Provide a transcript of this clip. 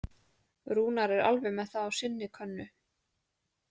Rúnar er alveg með það á sinni könnu.